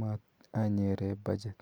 mat anyeren [budget].